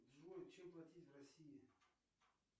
джой чем платить в россии